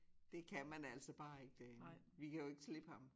Det kan man altså bare ikke derinde vi kan jo ikke slippe ham